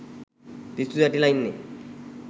පිස්සු වැටිලා ඉන්නේ.